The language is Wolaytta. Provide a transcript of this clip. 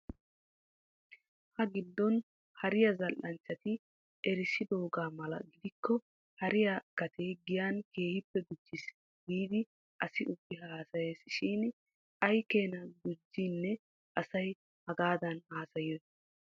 Ha giddon hariyaa zal'anchchati erissidoogaa mala gidikko hariyaa gatee giyan keehippe gujjis giidi asi ubbi haasayees shin aykeenaa gujjiinee asay hagaadan haasayiyoy?